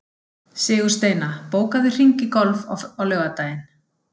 Sigursteina, bókaðu hring í golf á laugardaginn.